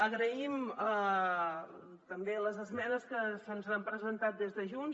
agraïm també les esmenes que se’ns han presentat des de junts